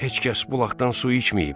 Heç kəs bulaqdan su içməyib.